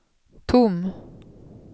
tom